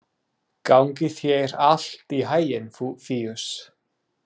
Gangi þér allt í haginn, Fíus.